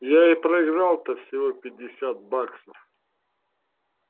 я и проиграл то всего пятьдесят баксов